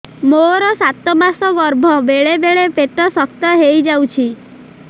ମୋର ସାତ ମାସ ଗର୍ଭ ବେଳେ ବେଳେ ପେଟ ଶକ୍ତ ହେଇଯାଉଛି